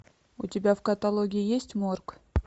у тебя в каталоге есть морг